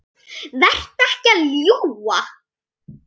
Vertu ekki að ljúga!